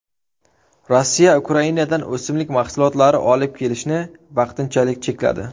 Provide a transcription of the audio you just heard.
Rossiya Ukrainadan o‘simlik mahsulotlari olib kelishni vaqtinchalik chekladi.